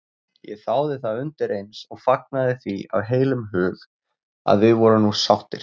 Ég þáði það undireins og fagnaði því af heilum hug að við vorum nú sáttir.